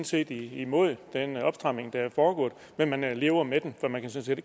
set imod den opstramning der er foregået men man man lever med den for man kan sådan